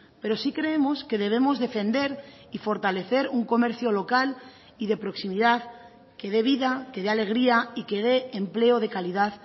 pero sí creemos que debemos defender y fortalecer un comercio local y de proximidad que dé vida que dé alegría y que dé empleo de calidad